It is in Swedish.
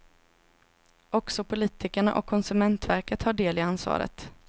Också politikerna och konsumentverket har del i ansvaret.